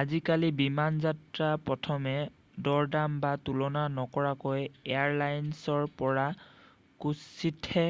আজিকালি বিমানযাত্ৰা প্ৰথমে দৰদাম বা তুলনা নকৰাকৈ এয়াৰ লাইনৰ পৰা কাৎচিতহে